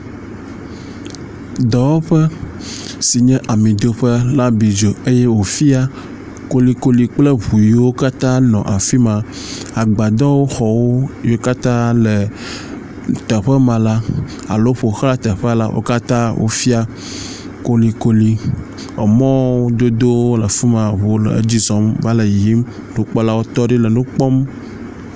Dɔwɔƒe sin ye amidoƒe la bi dzo eye wòfia kolikoli kple ŋu yiwo katã nɔ afi ma. Agbadɔxɔwo yiwo katã le teƒe ma la alo ƒoxla teƒea la wo katãa wofia kolikoli. Emɔdodowo le afi ma eŋuwo le edzi zɔm va le yiyim. Nukpɔlawo tɔ ɖi le nu kpɔm.